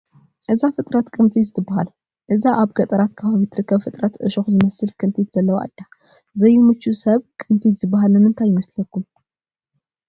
እዛ ፍጥረት ቅንፊዝ ትበሃል፡፡ እዛ ኣብ ገጠራት ከባቢ ትርከብ ፍጥረት ዕሾኽ ዝመስል ክንቲት ዘለዋ እያ፡፡ ዘይምቹ ሰብ ቅንፊዝ ዝበሃል ንምንታይ ይመስለኩም?